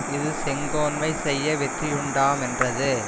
இது செங்கோன்மை செய்ய வெற்றியுண்டாமென்றது